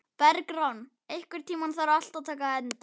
Bergrán, einhvern tímann þarf allt að taka enda.